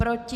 Proti?